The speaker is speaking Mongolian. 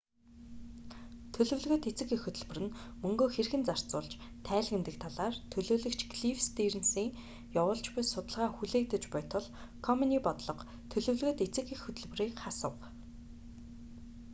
төлөвлөгөөт эцэг эх хөтөлбөр нь мөнгөө хэрхэн зарцуулж тайлагнадаг талаар төлөөлөгч клифф стийрнсийн явуулж буй судалгаа хүлээгдэж буй тул комений бодлого төлөвлөгөөт эцэг эх хөтөлбөрийг хасав